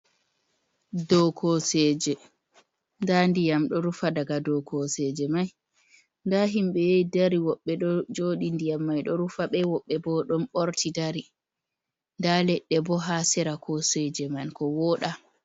Dow kooseeje. Nda ndiƴam ɗo rufa daga dow kooseeje mai. Nda himbe yahi dari woɓɓe ɗo jooɗi, ndiyam mai ɗo rufa ɓe. Woɓɓe bo ɗon ɓorti dari nda leɗɗe bo haa sera kooseeje man ko wooɗa.